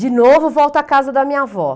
De novo, volto à casa da minha avó.